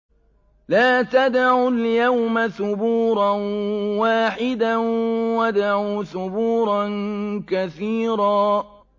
لَّا تَدْعُوا الْيَوْمَ ثُبُورًا وَاحِدًا وَادْعُوا ثُبُورًا كَثِيرًا